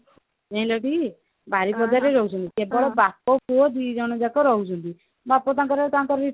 ଯାଇଁ ଲକି ବାରିପଦା ରେ ରହୁଛନ୍ତି ତ ବାପ ପୁଅ ଦିଜଣ ଯାକ ରହୁଛନ୍ତି ବାପ ତାଙ୍କର ତାଙ୍କରି